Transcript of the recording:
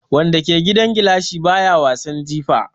Wanda ke gidan gilashi baya wasan jifa.